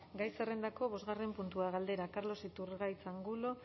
gai zerrendako bosgarren puntua galdera carlos iturgaiz angulo